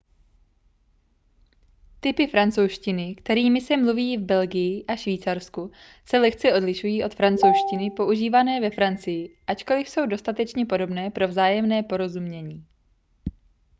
typy francouzštiny kterými se mluví v belgii a švýcarsku se lehce odlišují od francouzštiny používané ve francii ačkoliv jsou dostatečně podobné pro vzájemné porozumění